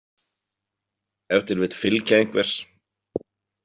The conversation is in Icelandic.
Ef til vill fylgja einhvers.